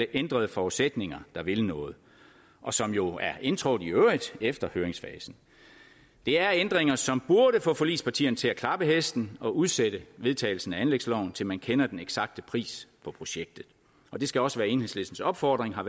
ændrede forudsætninger der vil noget og som jo er indtrådt efter høringsfasen det er ændringer som burde få forligspartierne til at klappe hesten og udsætte vedtagelsen af anlægsloven til man kender den eksakte pris på projektet og det skal også være enhedslistens opfordring og